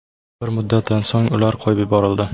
Bir muddatdan so‘ng ular qo‘yib yuborildi.